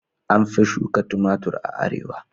An fi shuka tumatir a arewa.